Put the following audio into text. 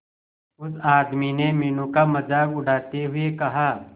उस आदमी ने मीनू का मजाक उड़ाते हुए कहा